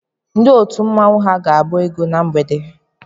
Ndị otu mmanwu ha ga-agba egwu na mgbede a?